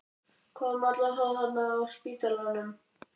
Hvað um alla þá þarna á spítalanum?